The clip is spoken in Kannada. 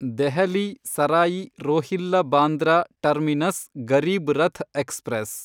Delhi Sarai Rohilla Bandra terminus Garib Rath express